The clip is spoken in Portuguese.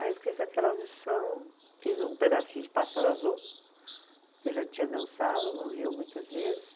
Aí eu fiz aquela audição, fiz um pedacinho de Pássaro Azul, que eu já tinha dançado no Rio muitas vezes.